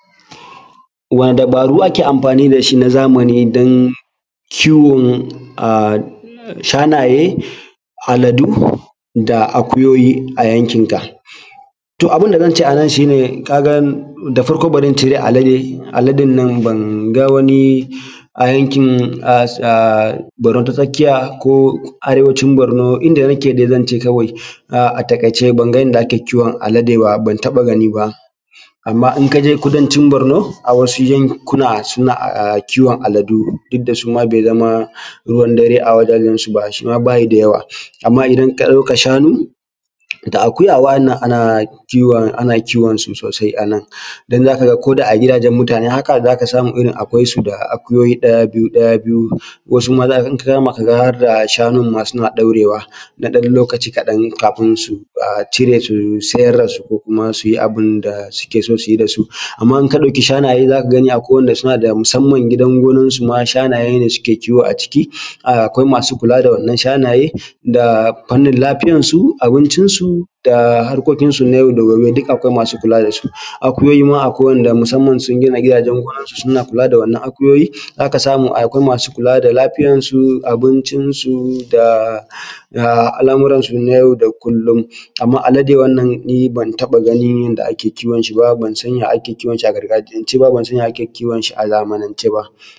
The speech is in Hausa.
Wane dabaaru ake amfaani da shi na zamani don kiwon shanaye, aladu da akuyoyi a yankinka? To abin da zan ce anan shi ne kaa ga da farko bari in cire alade, aladen nan banga wani a yankin ah Borno ta tsakiya ko Arewacin Borno inda nake ga zan ce kawai a taƙaice banga inda ake kiwon alade baa ban taɓa gani ba. Amma in ka je Kudancin borno a wasu yankuna suna kiwon aladu duk da suma bai zama ruwan dare a wajajan su ba suma ba su da yawa. Amma idan ka ɗauka shanu da akuya waɗannan ana kiwon ana kiwon su soosai anan don za ka ga ko da a gidajan mutane haka za ka samu akwai su da akuyoyi ɗaya biyu ɗaya biyu wasu ma in ta kama ka ga har da shanun maa suna ɗaurewa na ɗan lokaci kaɗan kafin su cire su siyar ko kuma suyi abin da suke so su yi da su. Amma in ka ɗauki shanaye za ka gani akwai waɗanda suna da musamman gidan gonansu maa shanaye ne suke kiwo aciki, akwai maasu kula da waɗannan shanaye da fannin lafiyansu, abincinsu da harkokinsu na yau da gobe duk akwai maasu kula da su. Akuyoyi maa akwai waɗanda musamman sun gina gidaajen gonansu suna kula da waɗannan akuyoyi, za ka samu akwai maasu kulaa da lafiyansu, abincinsu da al’amuransu na yau da kullum. Amma alade wannan nii ban taɓa ganin yadda ake kiwon shi ba, ban san ya ake kiwon shi a gargajiyance ba ban san ya ake kiwonshi a zamanance ba.